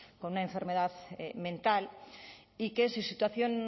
con una enfermedad mental y que su situación